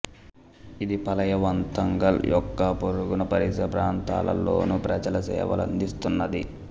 ఇది పళవంతాంగల్ యొక్క పొరుగున పరిసర ప్రాంతాలలోని ప్రజలకు సేవలు అందిస్తున్నది